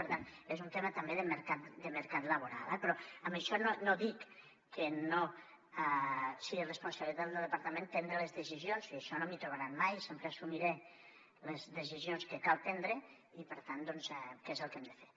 per tant és un tema també de mercat laboral eh però amb això no dic que no sigui responsabilitat del departament prendre les decisions en això no m’hi trobaran mai sempre assumiré les decisions que cal prendre i per tant què és el que hem de fer